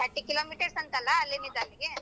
thirty kilo meters ಅಂತಲ್ಲ ಅಲ್ಲಿದಿಂದ್ ಅಲ್ಲಿಗೆ.